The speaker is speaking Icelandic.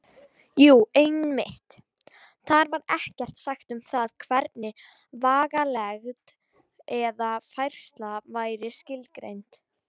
Jú, einmitt: Þar var ekkert sagt um það hvernig vegalengd eða færsla væri skilgreind!